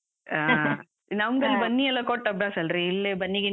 ಹಾ ನಮ್ಗಲ್ಲಿ ಬನ್ನಿ ಎಲ್ಲ ಕೊಟ್ ಅಭ್ಯಾಸ ಅಲ್ರೀ, ಇಲ್ಲಿ ಬನ್ನಿ ಗಿನ್ನಿ.